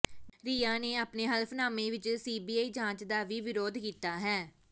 ਰਿਆ ਨੇ ਆਪਣੇ ਹਲਫ਼ਨਾਮੇ ਵਿਚ ਸੀਬੀਆਈ ਜਾਂਚ ਦਾ ਵੀ ਵਿਰੋਧ ਕੀਤਾ ਹੈ